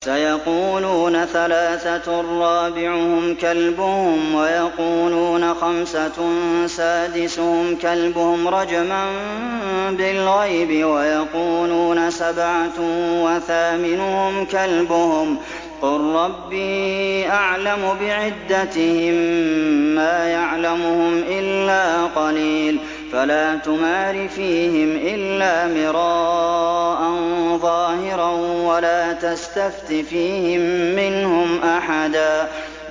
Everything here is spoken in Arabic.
سَيَقُولُونَ ثَلَاثَةٌ رَّابِعُهُمْ كَلْبُهُمْ وَيَقُولُونَ خَمْسَةٌ سَادِسُهُمْ كَلْبُهُمْ رَجْمًا بِالْغَيْبِ ۖ وَيَقُولُونَ سَبْعَةٌ وَثَامِنُهُمْ كَلْبُهُمْ ۚ قُل رَّبِّي أَعْلَمُ بِعِدَّتِهِم مَّا يَعْلَمُهُمْ إِلَّا قَلِيلٌ ۗ فَلَا تُمَارِ فِيهِمْ إِلَّا مِرَاءً ظَاهِرًا وَلَا تَسْتَفْتِ فِيهِم مِّنْهُمْ أَحَدًا